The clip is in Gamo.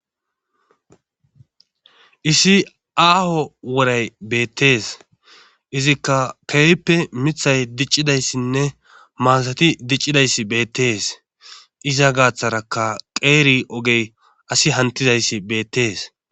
issi aaho woray beettees izikka keeyppe mithay diccidayssinne maasati diccidayssi beettees iza gaaththarakka qeeri ogey asi hantizayssi beettees